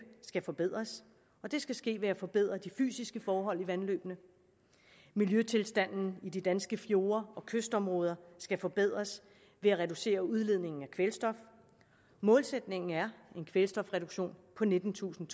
skal forbedres og det skal ske ved at forbedre de fysiske forhold i vandløbene miljøtilstanden i de danske fjorde og kystområder skal forbedres ved at reducere udledningen af kvælstof målsætningen er en kvælstofreduktion på nittentusind